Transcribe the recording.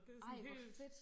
Ej hvor fedt